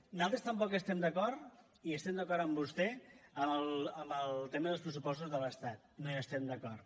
nosaltres tampoc estem d’acord i estem d’acord amb vostè en el tema dels pressupostos de l’estat no hi estem d’acord